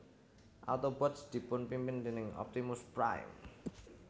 Autobots dipunpimpin déning Optimus Prime